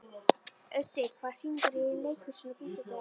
Auddi, hvaða sýningar eru í leikhúsinu á fimmtudaginn?